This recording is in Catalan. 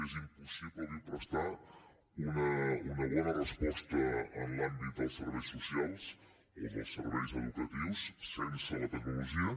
és impossible avui prestar una bona resposta en l’àmbit dels serveis socials o dels serveis educatius sense la tecnologia